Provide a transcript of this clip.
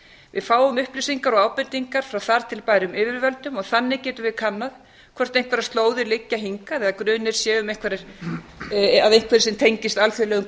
við fáum upplýsingar og ábendingar um þar til bærum yfirvöldum og þar með getum við kannað hvort einhverjir slóðir liggja hingað eða grunur sé af einhverju sem tengist alþjóðlegum